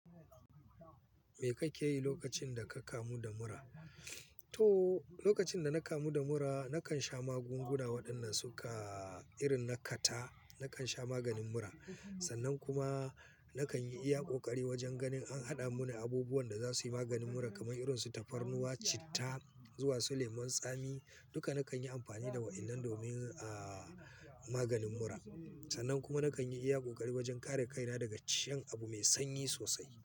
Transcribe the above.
Me kake yi lokacin da ka kamu da mura? To, lokacin da na kamu da mura nakan sha magunguna waɗanda suka irin na kata. Nakan sha maganin mura sannan kuma nakan yi iya ƙoƙari wajen ganin an haɗa mini abubuwan da za su yi maganin mura kamar irin su tafarnuwa, citta zuwa su lemon tsami. Duka nakan yi amfani da waɗannan domin, maganin mura. Sannan kuma nakan yi iya ƙoƙari wajen kare kaina daga ciyan abu mai sanyi sosai.